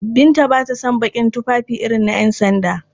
Binta ba ta son baƙin tufafi irin na ƴansanda.